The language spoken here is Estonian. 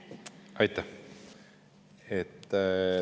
Aitäh!